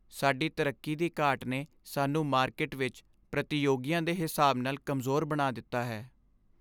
ਸਾਡੀ ਤਰੱਕੀ ਦੀ ਘਾਟ ਨੇ ਸਾਨੂੰ ਮਾਰਕੀਟ ਵਿੱਚ ਪ੍ਰਤੀਯੋਗੀਆਂ ਦੇ ਹਿਸਾਬ ਨਾਲ ਕਮਜ਼ੋਰ ਬਣਾ ਦਿੱਤਾ ਹੈ।